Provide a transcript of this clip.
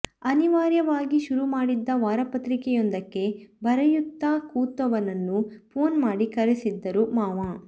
ಅನಿವಾರ್ಯವಾಗಿ ಶುರು ಮಾಡಿದ್ದ ವಾರಪತ್ರಿಕೆಯೊಂದಕ್ಕೆ ಬರೆಯುತ್ತ ಕೂತವನನ್ನು ಫೋನ್ ಮಾಡಿ ಕರೆಸಿದ್ದರು ಮಾವ